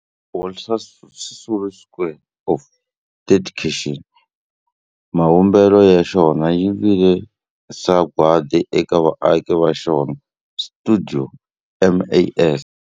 Walter Sisulu Square of Dedication, mavumbelo ya xona ya vile sagwadi eka vaaki va xona va stuidio MAS.